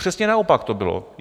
Přesně naopak to bylo.